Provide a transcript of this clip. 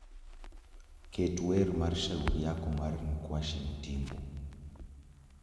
Ket wer mar shauri yako mar nkuashi ntimbo